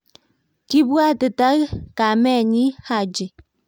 Kibwatita kamenyi Haji.